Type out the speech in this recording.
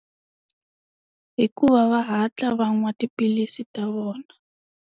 I ku va va hatla va nwa tiphilisi ta vona.